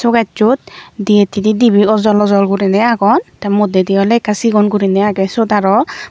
suo kejsot di hittedi dibe ojol ojol gurinei agon te moddedi awle ekka sigon gurinei age siyot araw.